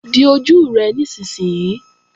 Di ojú rẹ nísinsìnyí!